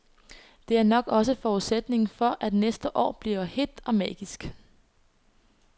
Det er nok også forudsætningen for, at næste år bliver hedt og magisk.